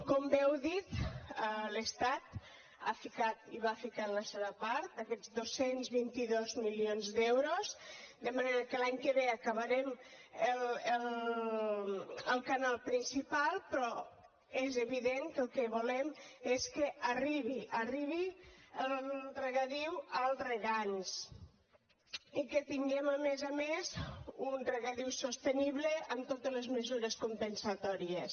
com bé heu dit l’estat ha ficat hi va ficar la seva part aquests dos cents i vint dos milions d’euros de manera que l’any que ve acabarem el canal principal però és evident que el que volem és que arribi arribi el regadiu als regants i que tinguem a més a més un regadiu sostenible amb totes les mesures compensatòries